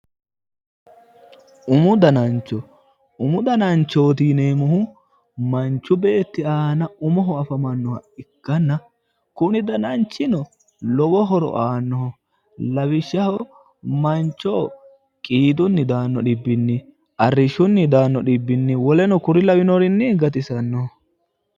Umu dananicho umu dananichooti yineemohu manichu beeti aana umoho afamannoha ikkana kuni dananchino lowo horo aanno lawishshaho manchoho qiidunni daanno dhibbinni arrishshote daanno dhibbinni woleno kori lawannorii gatisannoho.